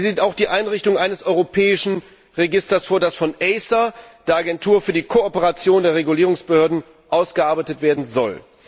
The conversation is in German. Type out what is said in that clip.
Sie sieht auch die Einrichtung eines europäischen Registers vor, das von ACER, der Agentur für die Kooperation der Regulierungsbehörden, ausgearbeitet werden soll.